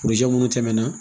minnu tɛmɛna